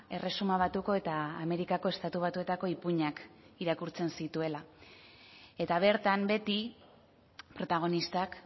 erresuma batuko eta amerikako estatu batuetako ipuinak irakurtzen zituela eta bertan beti protagonistak